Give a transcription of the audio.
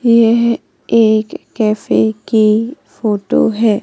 यह एक कैफे की फोटो है।